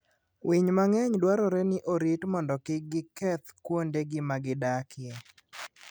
Winy mang'eny dwarore ni orit mondo kik keth kuondegi ma gidakie.